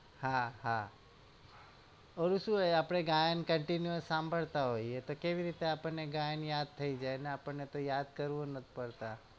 હા હા ઓલું શું હોય આપડે ગાયન continue સાંભળતા હોઈએ કેવી રીતે આપણને ગાયન યાદ થઈ જાય અને આપણ ને યાદ કરવું નથ પડતા